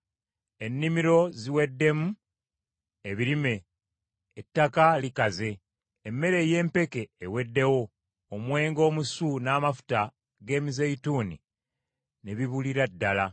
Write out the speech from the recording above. Ennimiro ziweddemu ebirime; ettaka likaze, Emmere ey’empeke eweddewo, omwenge omusu n’amafuta g’emizeeyituuni ne bibulira ddala.